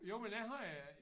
Jo men det har jeg